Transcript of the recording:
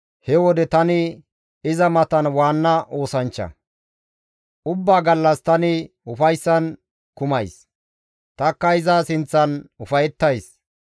he wode tani iza matan waanna oosanchcha; ubbaa gallas tani ufayssan kumays; tanikka iza sinththan ufayettays.